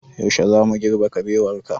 Yaushe zamu girbe kabewar ka?